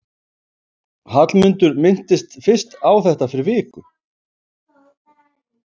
Hallmundur minntist fyrst á þetta fyrir viku.